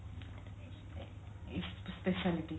specialty